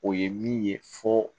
O ye min ye fo